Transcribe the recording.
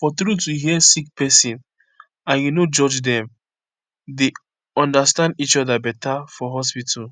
for truth to hear sick pesin and u no judge dem dey understand each oda beta for hospitu